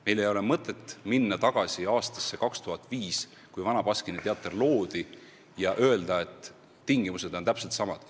Meil ei ole mõtet minna tagasi aastasse 2005, kui Vana Baskini Teater loodi, ja öelda, et tingimused on täpselt samad.